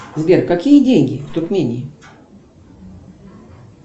сбер какие деньги в туркмении